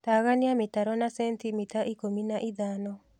Tagania mĩtaro na sentimita ikũmi na ithano